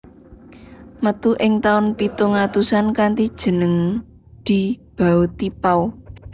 Metu ing tahun pitung atusan kanthi jeneng Di Bao Ti Pao